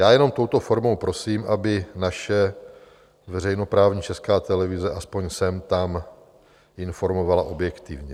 Já jenom touto formou prosím, aby naše veřejnoprávní Česká televize aspoň sem tam informovala objektivně.